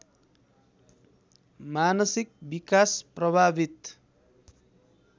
मानसिक विकास प्रभावित